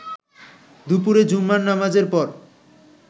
দুপুরে জুমার নামাজের পর